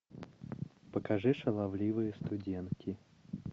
покажи шаловливые студентки